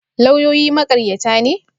Lauyoyi maƙaryata ne?